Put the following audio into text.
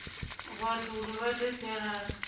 vhathu uri vha ite sialala